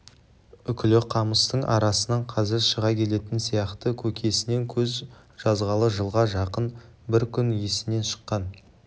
үкілі қамыстың арасынан қазір шыға келетін сияқты көкесінен көз жазғалы жылға жақын бір күн есінен шыққан